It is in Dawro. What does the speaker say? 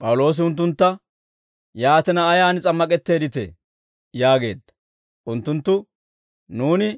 P'awuloosi unttuntta, «Yaatina, Ayaan s'ammak'etteedditee?» yaageedda. Unttunttu, «Nuuni